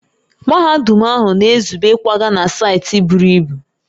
Mahadum ahụ na-ezube ịkwaga na saịtị buru ibu